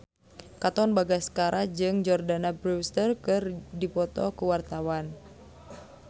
Katon Bagaskara jeung Jordana Brewster keur dipoto ku wartawan